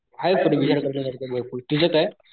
आहे रेव्हिशन करण्या सारखं भरपूर तुझं काय?